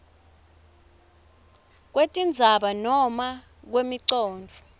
kwetindzima noma kwemicondvo